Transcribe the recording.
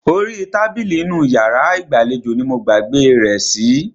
Orí tábìlì inú iyàrá ìgbàlejò ní mo gbàgbé rẹ̀ sí.